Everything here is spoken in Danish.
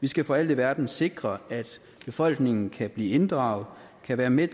vi skal for alt i verden sikre at befolkningen kan blive inddraget kan være med